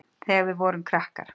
Þegar við vorum. krakkar.